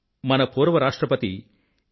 మన పూర్వ రాష్ట్రపతి ఏ